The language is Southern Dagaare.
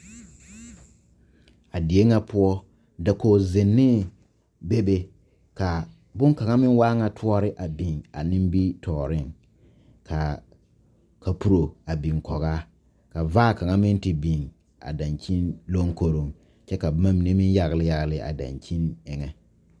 A die ŋa poɔ dakogizennee bebe ka bonkaŋa meŋ waa ŋa toɔre a biŋ a nimitɔɔreŋ ka kapuro a biŋ kɔge a ka vaa kaŋa meŋ te biŋ a dankyini lonkoroŋ kyɛ ka boma mine meŋ yagle yagle a dankyini eŋɛ.